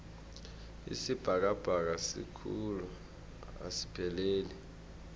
isibhakabhaka sikhulu asipheleli